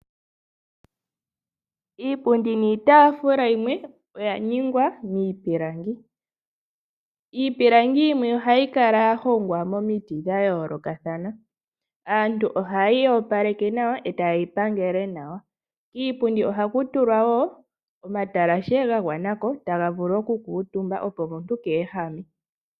Iipundi niitafulu yomwe oya ningwa miipilangi, iipilangi yimwe ohayi kala ya hongwa momiti dha yoolokathana, aantu ohaye yi opaleke nawa etaye yi pangele nawa. Kiipundi oha kutulwa woo omatalashe ga gwanako taga vulu oku kuutumbwa opo omntu keehame.